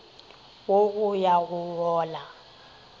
wo go ya go wola